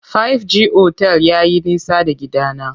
Five G otel yayi nisa da gidana.